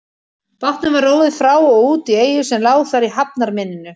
Bátnum var róið frá og út í eyju sem lá þar í hafnarmynninu.